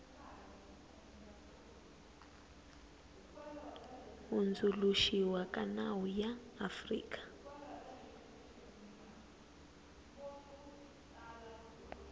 hundzuluxiwa ka nawu ya afrika